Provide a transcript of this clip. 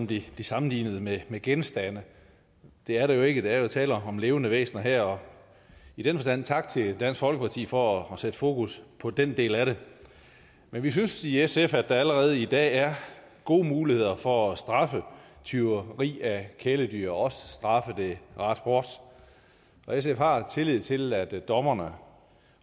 blive sammenlignet med med genstande det er de jo ikke der er jo tale om levende væsener her i den forstand tak til dansk folkeparti for at sætte fokus på den del af det men vi synes i sf at der allerede i dag er gode muligheder for at straffe tyveri af kæledyr og også straffe det ret hårdt og sf har tillid til at dommerne